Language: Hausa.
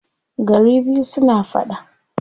Gari biyu suna faɗa.